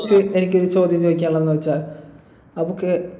അക്ഷയ് എനിക്കൊരു ചോദ്യം ചോദിക്കാനുള്ളത്ന്ന് വച്ചാൽ നമുക്ക്